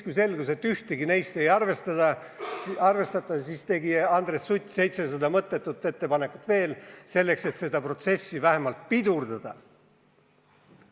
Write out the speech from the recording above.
Kui selgus, et ühtegi neist ei arvestata, tegi Andres Sutt 700 mõttetut ettepanekut veel, et seda protsessi vähemalt pidurdada.